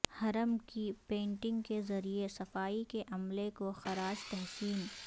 حرم کی پینٹنگ کے ذریعے صفائی کے عملے کو خراج تحسین